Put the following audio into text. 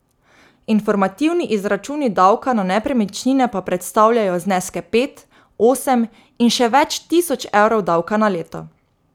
Informativni izračuni davka na nepremičnine pa predstavljajo zneske pet, osem in še več tisoč evrov davka na leto.